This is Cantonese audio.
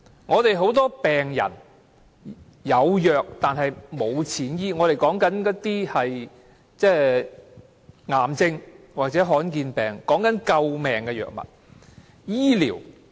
香港有很多病人是"有藥但沒有錢醫"，我們所說的是癌症或罕見疾病，是救命的藥物。